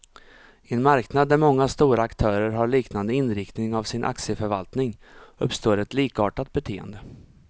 I en marknad där många stora aktörer har liknande inriktning av sin aktieförvaltning, uppstår ett likartat beteende.